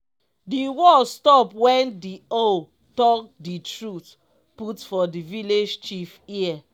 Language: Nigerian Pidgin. di war stop wen di owl talk di truth put for the vilage chief ear.